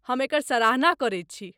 हम एकर सराहना करैत छी।